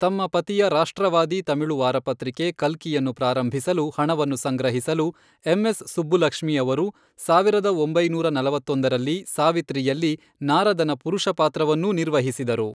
ತಮ್ಮ ಪತಿಯ ರಾಷ್ಟ್ರವಾದಿ ತಮಿಳು ವಾರಪತ್ರಿಕೆ ಕಲ್ಕಿಯನ್ನು ಪ್ರಾರಂಭಿಸಲು ಹಣವನ್ನು ಸಂಗ್ರಹಿಸಲು, ಎಮ್ ಎಸ್ ಸುಬ್ಬುಲಕ್ಷ್ಮಿ ಅವರು ಸಾವಿರದ ಒಂಬೈನೂರ ನಲವತ್ತೊಂದರಲ್ಲಿ ಸಾವಿತ್ರಿಯಲ್ಲಿ ನಾರದನ ಪುರುಷ ಪಾತ್ರವನ್ನೂ ನಿರ್ವಹಿಸಿದರು .